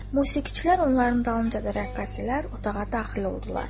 Musiqiçilər onların dalınca da rəqqasələr otağa daxil oldular.